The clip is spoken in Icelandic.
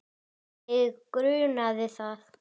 Mig grunaði það!